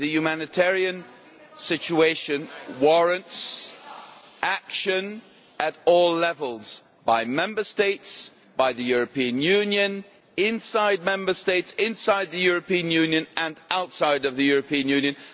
Secondly, the humanitarian situation warrants action at all levels by Member States, by the European Union, inside Member States, inside the European Union and outside of the European Union.